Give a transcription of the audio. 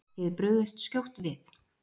Þið brugðust skjótt við.